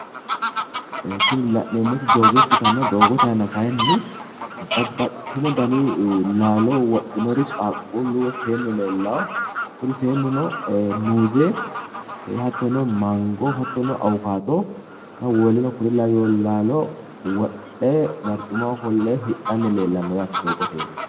Tini la'neemmoti doogo ikkitanna doogote aana kayiinni babbaxxiteyo dani laalo wodhinori qaaquullu woy seennu leellawo kuni seennuno ee muuze hattono mango hattono awukaato woleno kuri laweyo laalo wodhe barcimaho ofolle hidhanni leellanno yaate doogote iima